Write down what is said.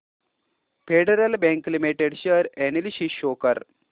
federal Bank Limited share analysis show कर